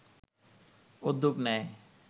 উদ্যোগ নেয়